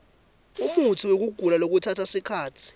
umutsiwekugula lokutsatsa sikhatsi